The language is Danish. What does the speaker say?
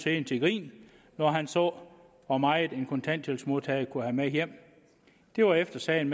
helt til grin når han så hvor meget en kontanthjælpsmodtager kunne have med hjem det var efter sagen